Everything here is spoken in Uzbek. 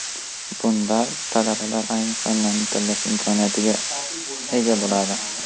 Bunda talabalar ayrim fanlarni tanlash imkoniyatiga ega bo‘ladi.